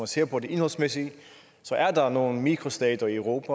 ser på det indholdsmæssige at så er der nogle mikrostater i europa